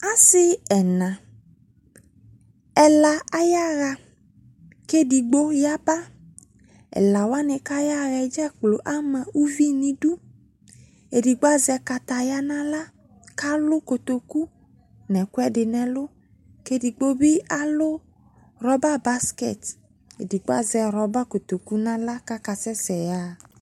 Ase ɛna, ɛla ayaha ko edigbo yaba Wla wanw ko ayaa dzakplo ana uvi no idu, Edigbo azɛ kataya no ala ko alu kotoku no ekwɛde no ɛlu, Edigbo be alu rɔba baskɛt Edlgbo azɛ rɔba kotoku no ala ko akaa sɛsɛ yaha